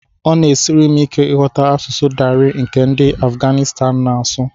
Ọ na-esiri m ike ịghọta asụsụ Dari nke ndị Afuganịstan na-asụ